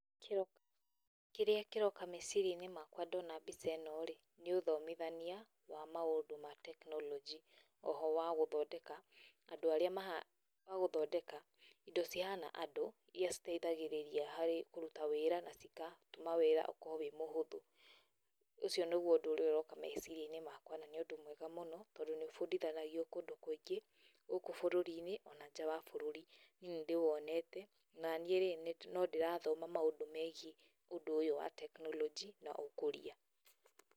Kĩrĩa kĩroka meciria-inĩ makwa ndona mbica ino-rĩ nĩ ũthomithania wa maũndũ ma tekinoronjĩ, o ho wa gũthondeka andũ arĩa, wa gũthondeka indo cihana andũ iria citeithagĩrĩragia harĩ kũrũta wĩra na cigatũma wĩra ũgakorwo ũrĩ mũhũthũ. Ũcio nĩguo ũndũ ũrĩa ũroka meciria-inĩ makwa na nĩ ũndũ mwega mũno tondũ nĩ ũbundithanagio kũndũ kũingĩ gũkũ bũrũri-inĩ ona nja wa bũrũrĩ. Niĩ nĩ ndĩwonete naniĩ rĩ nondĩrathoma maũndũ megiĩ ũndũ ũyũ wa tekinoronjĩ na ũkũria.